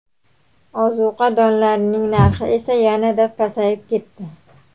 Ozuqa donlarning narxi esa yanada pasayib ketdi.